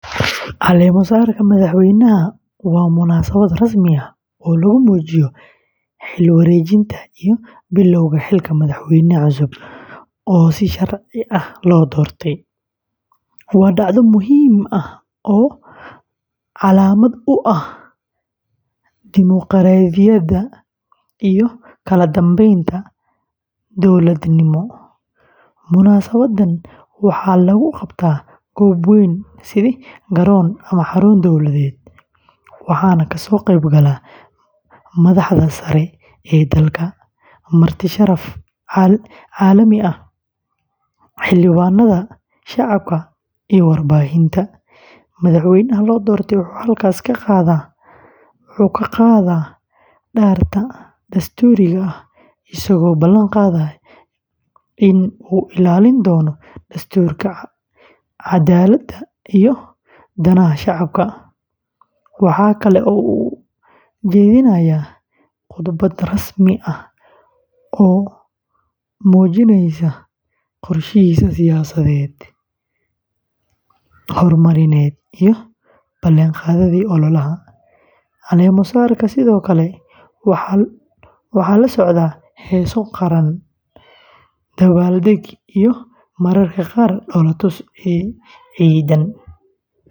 Caleemo-saarka madaxweynaha waa munaasabad rasmi ah oo lagu muujiyo xil-wareejinta iyo bilowga xilka madaxweyne cusub oo si sharci ah loo doortay. Waa dhacdo muhiim ah oo calaamad u ah dimuqraadiyadda iyo kala dambeynta dowladnimo. Munaasabaddan waxaa lagu qabtaa goob weyn sida garoon ama xarun dowladeed, waxaana kasoo qayb gala madaxda sare ee dalka, marti sharaf caalami ah, xildhibaanada, shacabka, iyo warbaahinta. Madaxweynaha la doortay wuxuu halkaas ka qaadaa dhaarta dastuuriga ah isagoo ballan qaadaya in uu ilaalin doono dastuurka, cadaaladda, iyo danaha shacabka. Waxa kale oo uu jeedinayaa khudbad rasmi ah oo muujinaysa qorshihiisa siyaasadeed, horumarineed, iyo ballan-qaadyadii ololaha. Caleemo-saarka sidoo kale waxaa la socda heeso qaran, dabaaldeg, iyo mararka qaar dhoolatus ciidan.